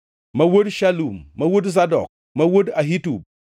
ma wuod Shalum, ma wuod Zadok, ma wuod Ahitub,